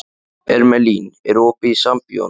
Irmelín, er opið í Sambíóunum?